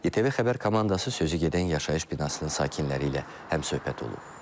ITV Xəbər komandası sözü gedən yaşayış binasının sakinləri ilə həmsöhbət olub.